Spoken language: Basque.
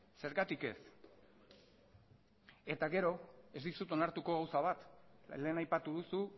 zergatik ez eta gero ez dizut onartuko gauza bat lehen aipatu duzu